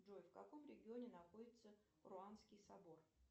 джой в каком регионе находится руанский собор